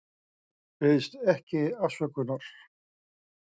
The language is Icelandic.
Biðst ekki afsökunar